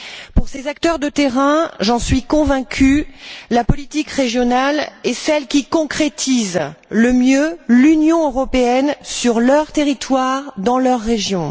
Pour ces acteurs de terrain, j'en suis convaincue, la politique régionale est celle qui concrétise le mieux l'Union européenne sur leur territoire, dans leur région.